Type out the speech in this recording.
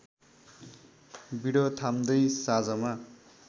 बिँडो थाम्दै साँझमा